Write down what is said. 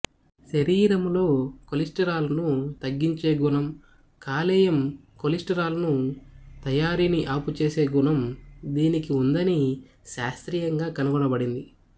శరీరములో కొలెస్టిరాల్ ను తగ్గించే గుణం కాలేయం కొలెస్టిరాల్ ను తయారీని ఆపుచేసే గుణం దీనికి ఉందని శాస్త్రీయంగా కనుగొనబడింది